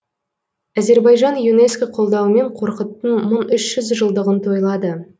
әзербайжан юнеско қолдауымен қорқыттың мың үш жүз жылдығын тойлады